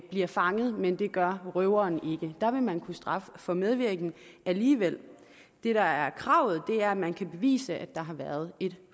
bliver fanget men det gør røveren ikke og der vil man kunne straffe for medvirken alligevel det der er kravet er at man kan bevise der har været et